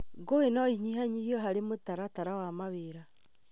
Ngũĩ no inyihanyihio harĩ mũtaratara wa mawĩra